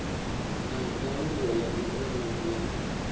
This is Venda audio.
na nyaluwo ya ikonomi ya